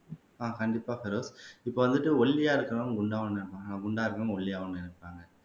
ஆஹ் கண்டிப்பா பெரோஸ் இப்ப வந்துட்டு ஒல்லியா இருக்கறவன் குண்டா குண்டா இருக்கறவன் ஒல்லியாவோன்னு நினைப்பாங்க